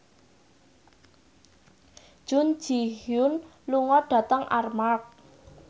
Jun Ji Hyun lunga dhateng Armargh